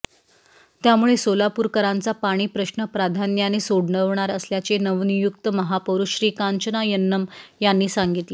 त्यामुळे सोलापूरकरांचा पाणीप्रश्न प्राधान्याने सोडवणार असल्याचे नवनियुक्त महापौर श्रीकांचना यन्नम यांनी सांगितले